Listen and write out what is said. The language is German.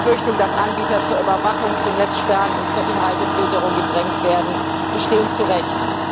Befürchtungen, dass Anbieter zur Überwachung, zu Netzsperren und zur Inhaltefilterung gedrängt werden, bestehen zu Recht.